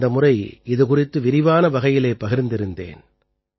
கடந்த முறை இது குறித்து விரிவான வகையிலே பகிர்ந்திருந்தேன்